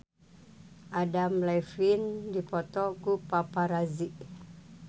Adam Levine dipoto ku paparazi